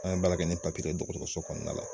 An be baara kɛ ni dɔgɔtɔrɔso kɔnɔna la.